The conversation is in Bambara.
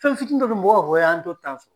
Fɛnfitini dɔ be yen mɔgɔw b'a fɔ, an to sɔrɔ.